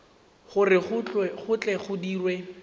gore go tle go dirwe